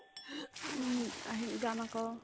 উম্, আহিম যাম আকৌ